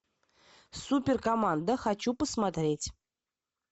супер команда хочу посмотреть